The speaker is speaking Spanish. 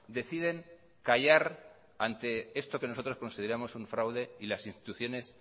deciden callar ante esto que nosotros consideramos un fraude y las instituciones